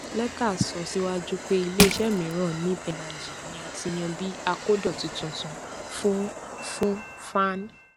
leta sọ síwájú pé ilé isẹ miran neeb energy ni a ti yan bí akodoti tuntun fún fún faan